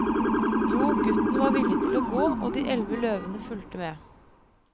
Jo, gutten var villig til å gå, og de elleve løvene fulgte med.